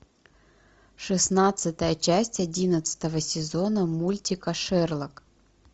шестнадцатая часть одиннадцатого сезона мультика шерлок